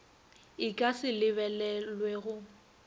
e ka se lebelelwe go